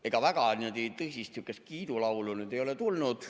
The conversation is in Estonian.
Ega väga tõsist sihukest kiidulaulu ei ole tulnud.